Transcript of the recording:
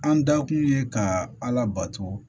An da kun ye ka ala bato